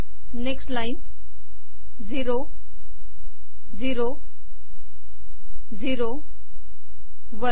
next line zero zero zero one